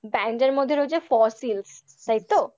band এর মধ্যে রয়েছে ফসিলশ তাই তো?